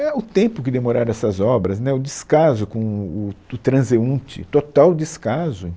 É o tempo que demoraram essas obras, né, o descaso com o tu o transeunte, o total descaso.